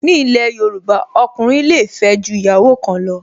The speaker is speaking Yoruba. Ni ilẹ̀ Yorùbá, ọkùnrin le fẹ́ ju ìyàwó kan lọ